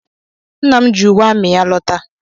Nna m ji uwe amị ya lọta.